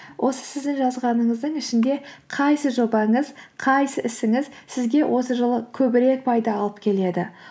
осы сіздің жазғаныңыздың ішінде қайсы жобаңыз қайсы ісіңіз сізге осы жылы көбірек пайда алып келеді